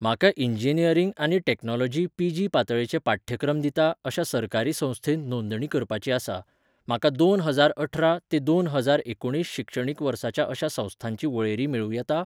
म्हाका इंजिनिअरिंग आनी technology PG पातळेचे पाठ्यक्रम दिता अशा सरकारी संस्थेंत नोंदणी करपाची आसा, म्हाका दोन हजार अठरा ते दोन हजार एकुणीस शिक्षणीक वर्साच्या अशा संस्थांची वळेरी मेळूं येता?